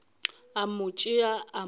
a mo tšea a mo